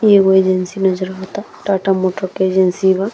इ एगो एजेंसी नज़र आवता टाटा मोटर्स के एजेंसी बा।